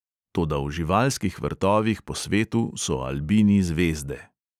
Toda v živalskih vrtovih po svetu so albini zvezde.